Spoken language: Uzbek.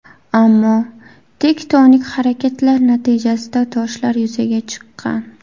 Ammo tektonik harakatlar natijasida toshlar yuzaga chiqqan.